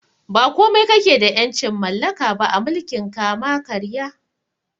Ba komai kakeda ƴancin mallaka ba a mulkin kama karya